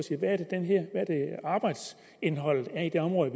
hvad arbejdsindholdet er i de områder